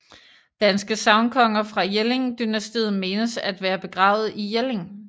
Danske sagnkonger fra Jelling dynastiet menes at være begravet i Jelling